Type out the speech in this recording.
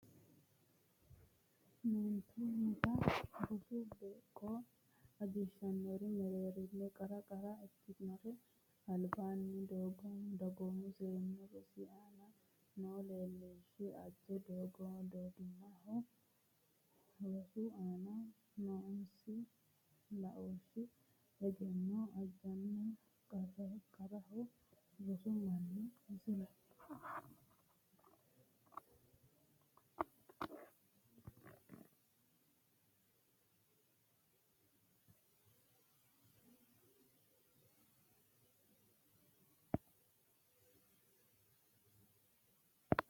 Meentunnita rosu beeqqo ajishannori mereerinni qara qara ikkinori albaanni dagoomu seennu rosi aana noo laooshshi aja dagoomaho rosu aana noosi laooshshi egenno ajanna qarqaraho rosu minna Misile.